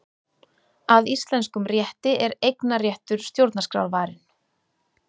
Að íslenskum rétti er eignarréttur stjórnarskrárvarinn